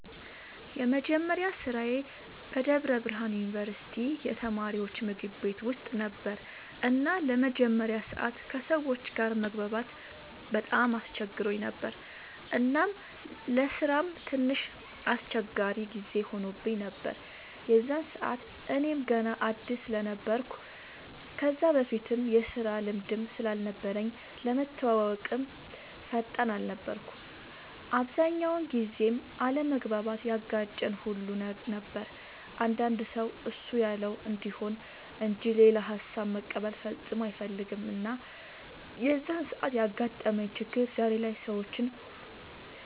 የመጀመሪያ ስራዬ በደብረ ብርሃን ዩንቨርስቲ የተማሪወች ምግብ ቤት ውስጥ ነበር እና ለመጀመሪያ ሰዓት ከሰወች ጋር መግባባት በጣም አስቸግሮኝ ነበር እናም ለስራም ትንሽ አስቸጋሪ ጊዜ ሆኖብኝ ነበር የዛን ሰዓት እኔም ገና አድስ ስለነበርኩ ከዛ በፊትም የስራ ልምድም ስላልነበረኝ ለመተወወቅም ፈጣን አልነበርኩም። አብዛኛውን ጊዜም አለመግባባት ያጋጨን ሁሉ ነበር አንዳንድ ሰው እሱ ያለው እንዲሆን እንጅ ሌላ ሃሳብ መቀበል ፈፅሞ አይፈልግም እና የዛን ሰዓት ያጋጠመኝ ችግር ዛሬ ላይ ሰወችን